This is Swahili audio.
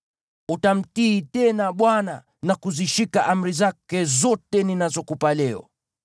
Utamtii tena Bwana na kuzishika amri zake zote ninazokupa leo.